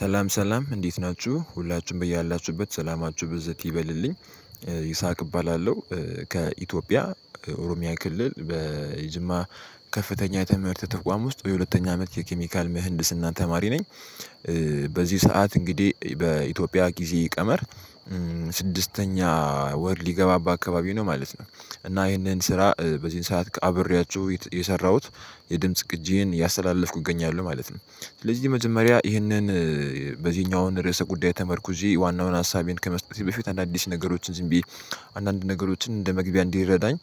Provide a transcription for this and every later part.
ሰላም ሰላም እንዴት ናችሁ ሁላችሁም በየ አላችሁበት ሰላማችሁ ብዝት ይበልልኝ ይስሐቅ እባላለሁ። ከኢትዮጵያ ኦሮሚያ ክልል በጅማ ከፍተኛ የትምህርት ተቋም ውስጥ የሁለተኛ አመት የኬሚካል ምህንድስና ተማሪ ነኝ። በዚህ ሰዓት እንግዲህ በኢትዮጵያ ጊዜ ቀመር ስድስተኛ ወር ሊገባባ አካባቢ ነው ማለት ነው። እና ይሄንን ስራ በዚህን ሰዓት አብሬያችሁ የሰራሁት የድምጽ ቅጂን ያስተላለፍኩት እገኛለሁ ማለት ነው። ስለዚህ መጀመሪያ ይህንን በዚህኛው አሁን ርዕሰ ጉዳይ ተመርኩዠ ዋናውን ሀሳቤን ከመስጠቴ በፊት አንድ አዲስ ነገሮችን ዝም ብዬ አንዳንድ ነገሮችን እንደ መግቢያ እንዲረዳኝ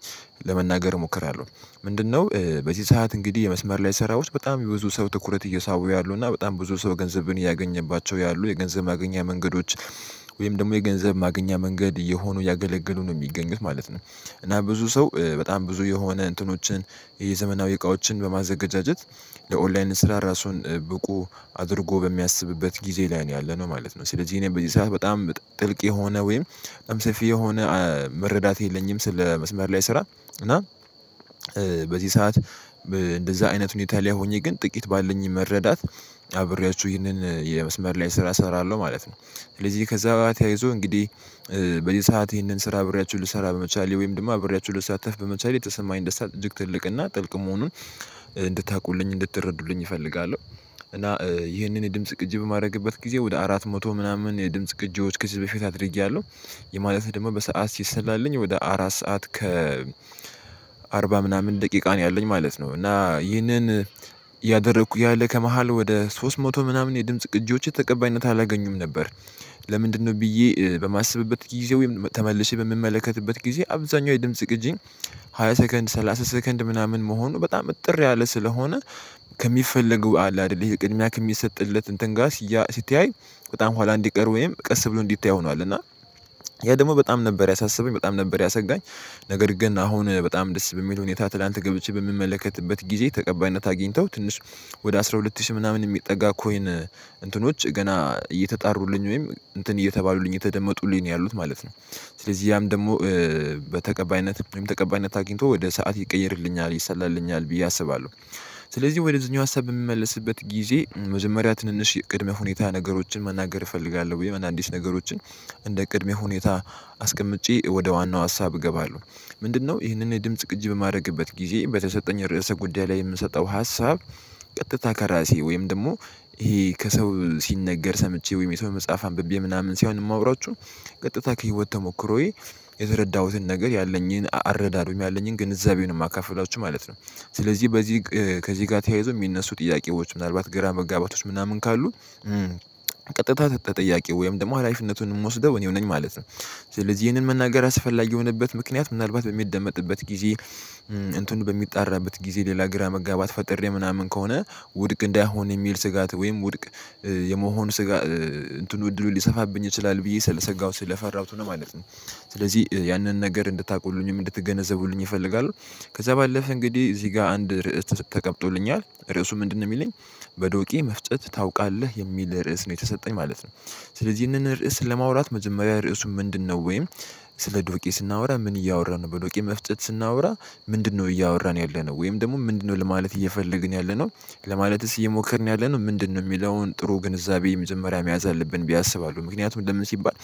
ለመናገር እሞክራለሁ። ምንድነው? በዚህ ሰዓት እንግዲህ የመስመር ላይ ስራ ውስጥ በጣም የብዙ ሰው ትኩረት እየሳቡ ያሉና በጣም ብዙ ሰው ገንዘብን እያገኘባቸው ያሉ የገንዘብ ማገኛ መንገዶች ወይም ደግሞ የገንዘብ ማገኛ መንገድ እየሆኑ ያገለገሉ ነው የሚገኙት ማለት ነው። እና ብዙ ሰው በጣም ብዙ የሆነ እንትኖችን የዘመናዊ እቃዎችን በማዘጋጀት ለኦንላይን ስራ ራሱን ብቁ አድርጎ በሚያስብበት ጊዜ ላይ ነው ያለነው ማለት ነው። ስለዚህ እኔ በዚህ ሰዓት በጣም ጥልቅ የሆነ ወይም በጣም ሰፊ የሆነ መረዳት የለኝም። ስለ መስመር ላይ ስራ እና በዚህ ሰዓት እንደዛ አይነት ሁኔታ ላይ ሆኜ ግን ጥቂት ባለኝ መረዳት አብሬያችሁ ይህንን የመስመር ላይ ስራ እሰራለሁ ማለት ነው። ስለዚህ ከዛ ጋር ተያይዞ እንግዲህ በዚህ ሰዓት ይህንን ስራ አብሪያችሁ ልሰራ በመቻሌ ወይም ደግሞ አብሪያችሁ ልሳተፍ በመቻሌ የተሰማኝ ደስታ እጅግ ትልቅና ጥልቅ መሆኑን እንድታውቁልኝ እንድትረዱልኝ እፈልጋለሁ። እና ይህንን የድምጽ ቅጂ በማድረግበት ጊዜ ወደ አራት መቶ ምናምን የድምጽ ቅጆች ከዚህ በፊት አድርጌያለሁ። የማለት ደግሞ በሰአት ሲሰላልኝ ወደ አራት ሰዓት ከ አርባ ምናምን ደቂቃ ነው ያለኝ ማለት ነው። እና ይህንን እደረኩ እያለ ከመሃል ወደ ሶስት መቶ ምናምን የድምጽ ቅጂዎች ተቀባይነት አላገኙም ነበር። ለምንድነው? ብዬ በማስብበት ጊዜ ወይም ተመልሼ በምመለከትበት ጊዜ አብዛኛው የድምጽ ግጂ ሃያ ሰከንድ ሰላሳ ሰከንድ ምናምን መሆኑ በጣም እጥር ያለ ስለሆነ። ከሚፈለገው አለ አይደል ይሄ ቅድሚያ ከሚሰጥለት እንትን ጋር ሲታይ በጣም ኋላ እንዲቀር ወይም ቀስ ብሎ እንዲታይ ሆኗል። እና ያ ደግሞ በጣም ነበር ያሳሰበኝ በጣም ነበር ያሰጋኝ። ነገር ግን አሁን በጣም ደስ በሚለው ሁኔታ ትላንት ገብቼ በምመለከትበት ጊዜ ተቀባይነት አግኝተው ትንሽ ወደ አስራ ሁለት ሺህ ምናምን የሚጠጋ ኮይን እንትኖች ገና እየተጣሩልኝ ወይም እንትን እየተባሉልኝ የተደመጡልኝ ነው ያሉት ማለት ነው። ስለዚህ ያም ደግሞ በተቀባይነት ወይም ተቀባይነት አግኝቶ ወደ ሰዓት ይቀይርልኛል ይሰላልኛል ብዬ አስባለሁ። ስለዚህ ወደዚህኛው ሀሳብ በሚመለስበት ጊዜ መጀመሪያ ትንንሽ የቅድመ ሁኔታ ነገሮችን መናገር እፈልጋለሁ ብዬ አዲስ ነገሮችን እንደ ቅድሚያ ሁኔታ አስቀምጬ ወደ ዋናው ሀሳብ እገባለሁ። ምንድነው? ይህንን ድምጽ ቅጅ በማድረግበት ጊዜ በተሰጠኝ ርዕሰ ጉዳይ ላይ የምሰጠው ሀሳብ ቀጥታ ከራሴ ወይም ደግሞ ይሄ ከሰው ሲነገር ሰምቼ ወይም የሰው መጽሐፍ አንብቤ ምናምን ሲሆን የማወራው ቀጥታ ከህይወት ተሞክሮዬ የተረዳሁትን ነገር ያለኝን አረዳድ ወይም ያለኝን ግንዛቤ የማካፍላችሁ ማለት ነው። ስለዚህ በዚህ ከዚህ ጋር ተያይዞ የሚነሱ ጥያቄዎች ምናልባት ግራ መጋባቶች ምናምን ካሉ። ተጠጠያቂ ወይም ደግሞ ሀላፊነቱን የምወስደው እኔው ነኝ ማለት ነው። ስለዚህ ይህንን መናገር አስፈላጊ የሆነበት ምክንያት ምናልባት በሚደመጥበት ጊዜ እንትኑ በሚጣራበት ጊዜ ሌላ ግራ መጋባት ፈጥሬ ምናምን ከሆነ ውድቅ እንዳይሆን የሚል ስጋት ወይም ውድቅ የመሆን ስጋ እንትኑ እድሉን ሊሰፋብኝ ይችላል ብዬ ስለሰጋሁት ለፈራሁት ነው ማለት ነው። ስለዚህ ያንን ነገር እንድታውቁልኝም እንድትገነዘቡልኝ እፈልጋለሁ። ከዛ ባለፈ እንግዲህ እዚህ ጋር አንድ ርዕስ ተቀምጦልኛል ርዕሱ ምንድነው? የሚለኝ በዶቄ መፍጨት ታውቃለህ የሚል ርዕስ ነው የተሰጠኝ ማለት ነው። ስለዚህ ይህንን ርዕስ ለማውራት መጀመሪያ ርዕሱ ምንድነው? ወይም ስለ ዶቄ ስናወራ ምን እያወራን በዶቄ መፍጨት ስናወራ ምንድነው እያወራን ያለነው ወይም ደግሞ ምንድነው ለማለት እየፈለግን ያለነው? ለማለትስ እየሞከርን ያለነው ምንድነው የሚለውን ጥሩ ግንዛቤ የመጀመሪያ መያዝ አለብን። ብ አስባለሁ ምክንያቱም ለምን ሲባል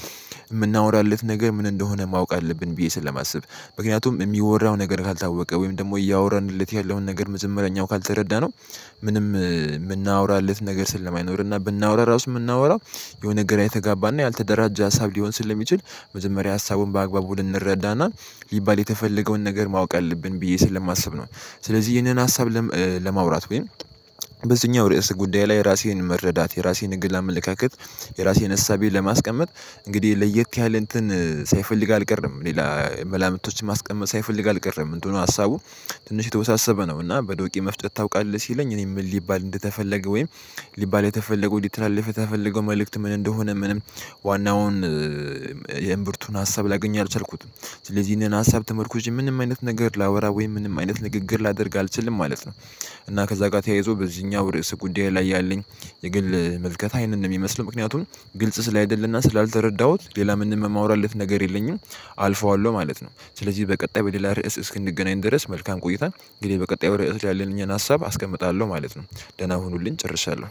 የምናወራለት ነገር ምን እንደሆነ ማወቅ አለብን ብዬ ስለማስብ ምክንያቱም የሚወራው ነገር ካልታወቀ ወይም ደግሞ እያወራንለት ያለውን ነገር መጀመሪያ እኛው ካልተረዳነው ምንም የምናወራለት ነገር ስለማይኖር እና ብናወራ ራሱ የምናወራው የሆነ ነገር የተጋባና ያልተደራጀ ሀሳብ ሊሆን ስለሚችል መጀመሪያ ሀሳቡን በአግባቡ ልንረዳና ሊባል የተፈለገውን ነገር ማወቅ አለብን ብዬ ስለማስብ ነው። ስለዚህ ይህንን ሀሳብ ለማውራት ወይም ርዕሰ ጉዳይ ላይ ራሴን መረዳት የራሴን የግል አመለካከት የራሴን እሳቤ ለማስቀመጥ እንግዲህ ለየት ያለ እንትን ሳይፈልግ አልቀረም ሌላ መላምቶችን ማስቀመጥ ሳይፈልግ አልቀረም እንትኑ ሀሳቡ ትንሽ የተወሳሰበ ነው። እና በዶቄ መፍጨት ታውቃለህ? ሲለኝ እኔ ምን ሊባል እንደተፈለገ ወይም ሊባል የተፈለገው ሊተላለፍ የተፈለገው መልእክት ምን እንደሆነ ምንም ዋናውን የእምብርቱን ሀሳብ ላገኝ አልቻልኩትም። ስለዚህ እነና ሀሳብ ተመርኩዥ ምንም አይነት ነገር ላወራ ወይም ምንም አይነት ንግግር ላደርግ አልችልም ማለት ነው። እና ከዛ ጋር ተያይዞ በዚህኛው ርዕስ ጉዳይ ላይ ያለኝ የግል መልከት ይሔንን ነው የሚመስለው ምክንያቱም ግልጽ ስላይደለ እና ስላልደረዳሁት ሌላ ምንም የማወራለት ነገር የለኝም። አልፈዋለሁ ማለት ነው። ስለዚህ በቀጣይ በሌላ ርዕስ እስክንገናኝ ድረስ መልካም ቆይታ እንግዲህ በቀጣይ ርዕስ ያለኝን ሀሳብ አስቀምጣለሁ ማለት ነው። ደህና ሁኑልኝ ጨርሻለሁ